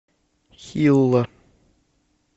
хилла